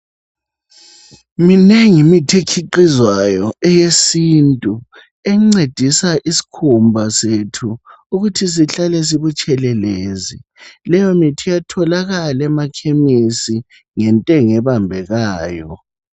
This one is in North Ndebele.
Minengi imithi ekhiqhizwayo eyesintu encedisa isikhumba sethu ukuthi sihlale sibutshelelezi leyomithi iyatholakala emakhemisi ngentengo ebambekayo.